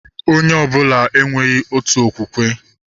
Onye ọbụla enweghị otu okwukwe